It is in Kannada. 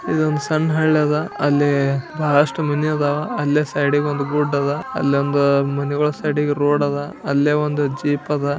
ಎಷ್ಟೊಂದು ಮನೆಗಳು ಇವೆ ಒಂದು ಮೈಂಡ್ ಸೈಡ್ ಗೆ ರೋಡದ ಮುಂದೆ ಒಂದು ಜೀಪ್ ಆದ.